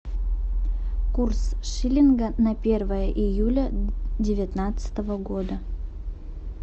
курс шиллинга на первое июля девятнадцатого года